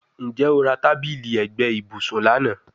Njẹ o ra tabili ẹgbẹ ibusun lana?